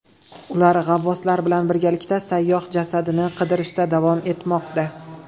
Ular g‘avvoslar bilan birgalikda sayyoh jasadini qidirishda davom etmoqda.